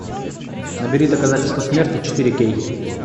набери доказательство смерти четыре кей